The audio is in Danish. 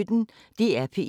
DR P1